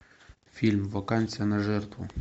фильм вакансия на жертву